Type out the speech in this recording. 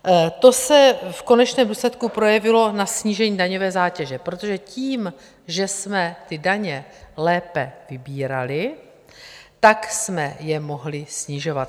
To se v konečném důsledku projevilo na snížení daňové zátěže, protože tím, že jsme ty daně lépe vybírali, tak jsme je mohli snižovat.